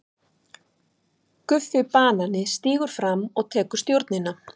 GUFFI BANANI stígur fram og tekur stjórnina.